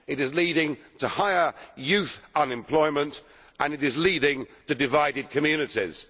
It is leading to higher youth unemployment and it is leading to divided communities.